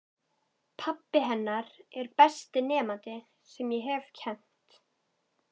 Pabbi hennar er besti nemandi sem ég hef kennt.